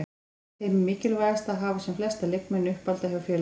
Finnst Heimi mikilvægt að hafa sem flesta leikmenn uppalda hjá félaginu?